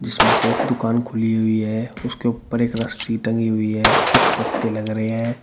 उसमे से एक दुकान खुली हुई है उसके ऊपर एक रस्सी टंगी हुई है कुछ पत्ते लग रहे है।